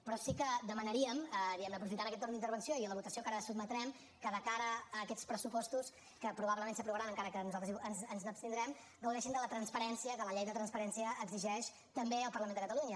però sí que demanaríem diguem ne aprofitant aquest torn d’intervenció i a la votació a què ara el sotmetrem que de cara a aquests pressupostos que probablement s’aprovaran encara que nosaltres ens n’abstindrem gaudeixin de la transparència que la llei de transparència exigeix també al parlament de catalunya